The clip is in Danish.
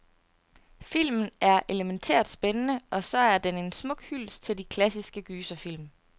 Filmen er elemæntært spændende, og så er den en smuk hyldest til de klassiske gyserfilm.